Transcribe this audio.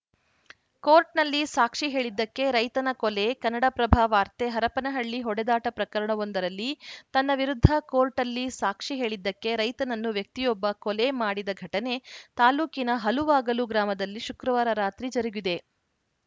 ಕೋರ್ಟ್‌ನಲ್ಲಿ ಸಾಕ್ಷಿ ಹೇಳಿದ್ದಕ್ಕೆ ರೈತನ ಕೊಲೆ ಕನ್ನಡಪ್ರಭ ವಾರ್ತೆ ಹರಪನಹಳ್ಳಿ ಹೊಡೆದಾಟ ಪ್ರಕರಣವೊಂದರಲ್ಲಿ ತನ್ನ ವಿರುದ್ಧ ಕೋರ್ಟಲ್ಲಿ ಸಾಕ್ಷಿ ಹೇಳಿದ್ದಕ್ಕೆ ರೈತನನ್ನು ವ್ಯಕ್ತಿಯೊಬ್ಬ ಕೊಲೆ ಮಾಡಿದ ಘಟನೆ ತಾಲೂಕಿನ ಹಲುವಾಗಲು ಗ್ರಾಮದಲ್ಲಿ ಶುಕ್ರವಾರ ರಾತ್ರಿ ಜರುಗಿದೆ